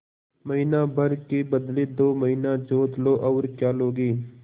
महीना भर के बदले दो महीना जोत लो और क्या लोगे